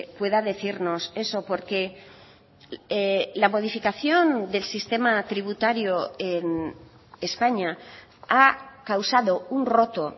pueda decirnos eso porque la modificación del sistema tributario en españa ha causado un roto